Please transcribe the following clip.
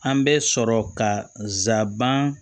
An bɛ sɔrɔ ka nsaban